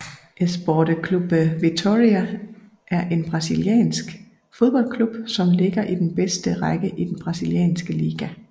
Esporte Clube Vitória er en brasiliansk fodboldklub som ligger i den bedste række i den brasilianske liga